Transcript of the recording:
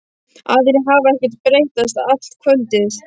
Aðrir hafa ekkert breyst allt kvöldið.